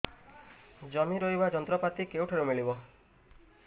ଜମି ରୋଇବା ଯନ୍ତ୍ରପାତି କେଉଁଠାରୁ ମିଳିବ